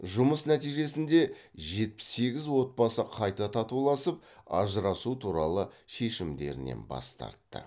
жұмыс нәтижесінде жетпіс сегіз отбасы қайта татуласып ажырасу туралы шешімдерінен бас тартты